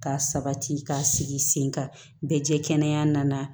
Ka sabati ka sigi sen kan bɛɛ jɛ kɛnɛ nana